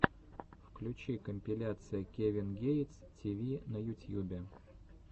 включи компиляция кевин гейтс ти ви на ютьюбе